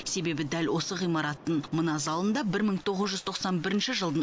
себебі дәл осы ғимараттың мына залында бір мың тоғыз жүз тоқсан бірінші жылдың